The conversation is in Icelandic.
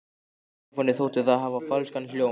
Stefáni þótti það hafa falskan hljóm.